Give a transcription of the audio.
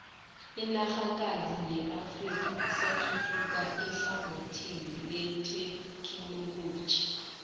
inanrhakazi yeafrika isathuthuka ehlangothini lethekhinoloji